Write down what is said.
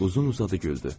Uzun-uzadı güldü.